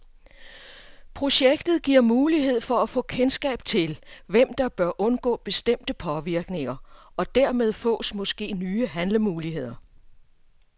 Projektet giver mulighed for at få kendskab til, hvem der bør undgå bestemte påvirkninger, og dermed fås måske nye handlemuligheder.